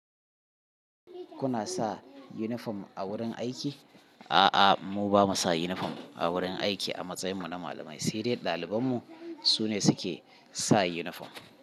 Ku na sa yunifom a wurin aiki? A'a, mu ba mu sa yunifom a wurin aiki. A matsayin mu na malamai, sai dai ɗalibain mu su ne suke sa yunifom.